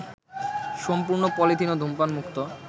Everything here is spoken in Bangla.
সম্পূর্ণ পলিথিন ও ধূমপানমুক্ত